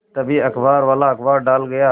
तभी अखबारवाला अखबार डाल गया